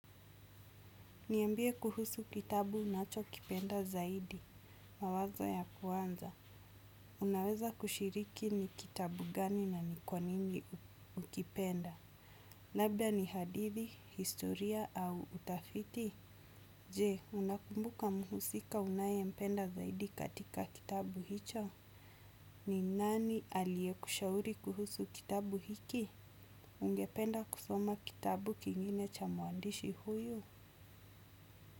Niambie kuhusu kitabu unacho kipenda zaidi, mawazo ya kuanza. Unaweza kushiriki ni kitabu gani na nikwa nini ukipenda. Labda ni hadithi, historia au utafiti. Je, unakumbuka muhusika unaye mpenda zaidi katika kitabu hicho? Ni nani alie kushauri kuhusu kitabu hiki? Ungependa kusoma kitabu kingine cha muandishi huyu?